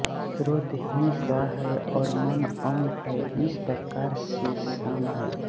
श्रोत्र ही सा है और मन अम है इस प्रकार ये साम हैं